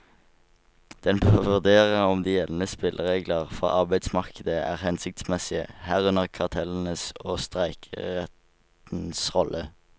Den bør vurdere om de gjeldende spilleregler for arbeidsmarkedet er hensiktsmessige, herunder kartellenes og streikerettens rolle.